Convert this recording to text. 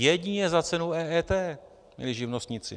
Jedině za cenu EET, milí živnostníci!